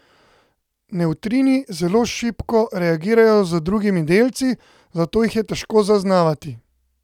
Nevtrini zelo šibko reagirajo z drugimi delci, zato jih je težko zaznavati.